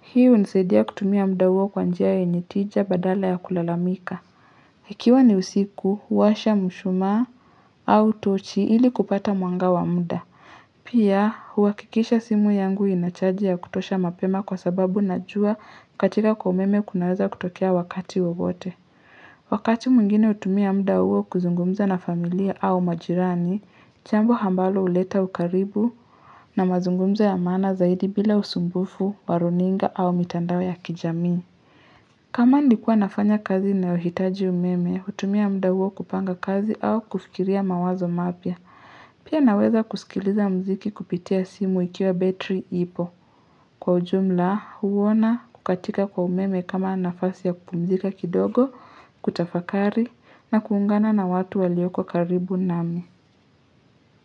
Hii unisadia kutumia muda huo kwa njia yenye tija badala ya kulalamika. Ikiwa ni usiku, huwasha mshumaa au tochi ili kupata mwanga wa muda. Pia, huhakikisha simu yangu inachaji ya kutosha mapema kwa sababu najua kukatika kwa umeme kunaweza kutokea wakati wowote Wakati mwingine utumia muda huo kuzungumza na familia au majirani, jambo hambalo uleta ukaribu na mazungumzo ya maana zaidi bila usumbufu, wa runinga au mitandao ya kijami kama nikuwa nafanya kazi inayohitaji umeme, hutumia muda huo kupanga kazi au kufikiria mawazo mapya Pia naweza kusikiliza mziki kupitia simu ikiwa betri ipo kwa ujumla huona kukatika kwa umeme kama nafasi ya kupumzika kidogo, kutafakari na kuungana na watu walioko karibu nami.